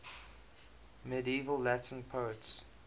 medieval latin poets